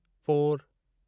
four